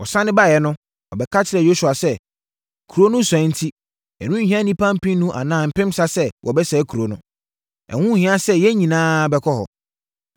Wɔsane baeɛ no, wɔbɛka kyerɛɛ Yosua sɛ, “Kuro no sua enti, ɛrenhia nnipa mpenu anaa mpensa sɛ wɔbɛsɛe kuropɔn no. Ɛho nhia sɛ yɛn nyinaa bɛkɔ hɔ.”